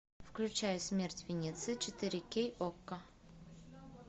включай смерть венеции четыре кей окко